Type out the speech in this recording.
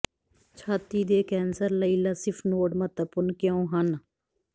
ਛਾਤੀ ਦੇ ਕੈਂਸਰ ਲਈ ਲਸਿਫ ਨੋਡ ਮਹੱਤਵਪੂਰਣ ਕਿਉਂ ਹਨ